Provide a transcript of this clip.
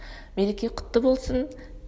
мереке құтты болсын